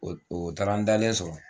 O taara an dalen sɔrɔ